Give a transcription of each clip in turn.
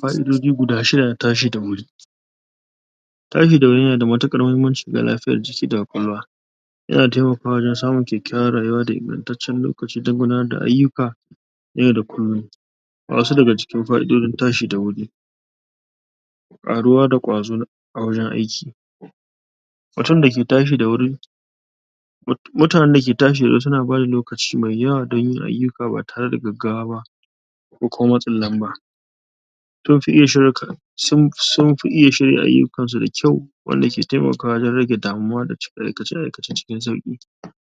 Fa'idoji guda shida na tashi da wuri Tashi da wuri yana da mutuƙar muhimmanci ga lafiyar jiki da ƙwaƙwalwa yana taimakawa wajen samun kyakkyawar rayuwa da ingantaccen lokaci don gudanar da ayyuka yau da kullum Ga wasu daga cikin fa'idojin tashi da wuri ƙaruwa da ƙwazo a wajen aiki mutum da ke tashi da wuri mutanen da ke tashi da wuri suna bada lokaci mai yawa don yin ayyuka ba tare da gaggawa ba ko kuma matsin lamba sun fi iya shirk? sun? sunfi iya shirya ayyukan su da kyau wanda ke taimakawa wajen rage damuwa da cika aikace-aikace cikin sauƙi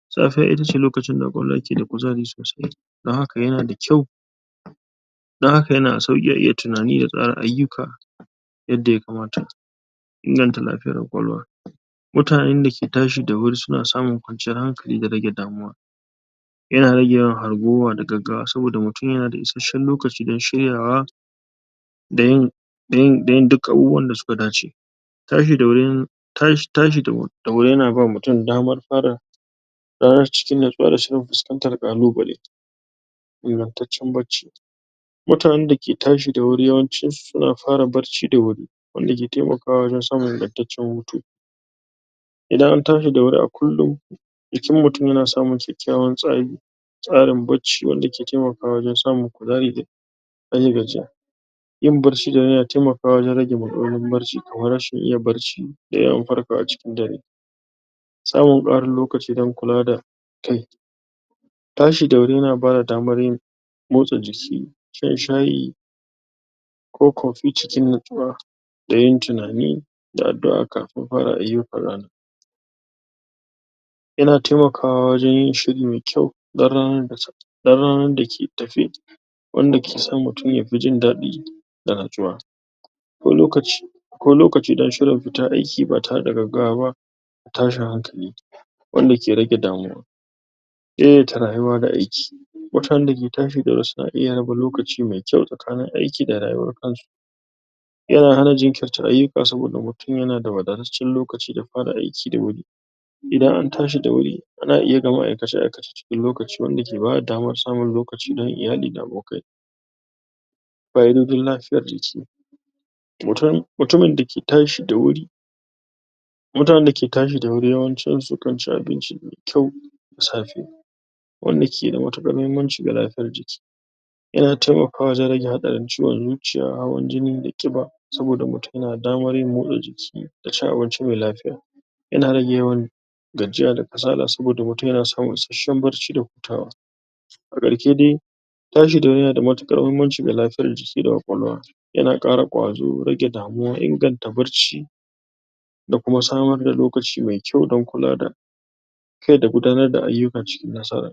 safiya ita ce lokacin da ƙwaƙwalwa ke da kuzari sosai don haka yana da kyau don haka yana a sauƙi a iya tunani da tsara ayyuka yadda ya kamata Inganta lafiyar ƙwakwalwa Mutanen da ke tashi da wuri suna samun kwanciyar hankali da rage damuwa yana rage yawan hargowa da gaggawa, saboda mutum yanada isashshen lokaci don shiryawa da yin da yin da yin duk abubuwan da suka dace tashi da wuri ta?tashi da wuri da wuri yana bawa mutum damar fara ranar cikin nutsuwa da shirin fuskantar ƙalubale Ingantaccen barci mutanen da ke tashi da wuri, yawancin su suna fara barci da wuri wanda ke taimakawa wajen samun ingantaccen hutu idan an tashi da wuri a kullum jikin mutum yana samun kyakkyawan tsari tsarin bacci wanda ke taimakawa wajen samun kuzari da rage gajiya yin barci da wuri yana tamakawa wajen rage matsalolin barci.kamar rashin iya barci da yawan farkawa cikin dare samun ƙarin lokaci don kula da kai. Tashi da wuri yana bada damar yin motsa jiki, shan shayi ko coffee cikin nutswuwa da yin tunani da addu'a kafin fara ayyukan rana yana taimakawa wajen yin shiri mai kyau don ranar da ta don ranar da ke tafe wanda ke son mutum yafi jin daɗi da nutsuwa ko lokaci ko lokaci don shirin fita aiki ba tare da gaggawa ba tashin hankali wanda ke rage damuwa Daidaita rayuwa da aiki Mutanen da ke tashi da wuri suna iya raba lokaci mai kyau tsakanin aiki da rayuwar kansu yana hana jinkirta ayyuka saboda mutum yana da wadataccen lokaci da fara aiki da wuri idan an tashi da wuri ana iya gama aikace-aikace cikin lokaci wanda ke bada damar samun lokaci don iyali da abokai fa'idojin lafiya jiki mutum mutumin dake tashi da wuri mutanen dake tashi da wuri yawancin su kan ci abinci mai kyau da safe wanda ke da mutuƙar muhimmanci ga lafiyar jiki yana taimakawa wajen rage haɗarin ciwon zuciya, hawan jini da ƙiba saboda mutum yana da damar yin motsa jiki da cin abinci mai lafiya yana rage yawan gajiya da kasala saboda mutum yana samun isarshen barci da hutawa A ƙarshe dai tashi da wuri yana da mutuƙar muhimmanci ga lafiyar jiki da ƙwaƙwalwa yana ƙara ƙwazo, rage damuwa, inganta barci da kuma samar da lokaci mai kyau don kula da kai da kuma gudanar da ayyuka cikin nasara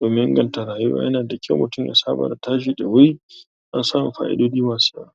domin inganta rayuwa, yana da kyau mutum ya saba da tashi da wuri don samu fa'idoji masu yawa